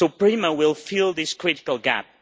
So PRIMA will fill this critical gap.